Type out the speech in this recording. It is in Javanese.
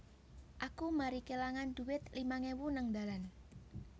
Aku mari kelangan duit limang ewu nang dalan